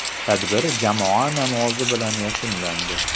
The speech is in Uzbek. Tadbir jamoa namozi bilan yakunlandi.